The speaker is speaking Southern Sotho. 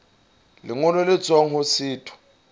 lengolo le tswang ho setho